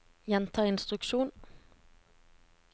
gjenta instruksjon